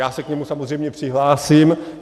Já se k němu samozřejmě přihlásím.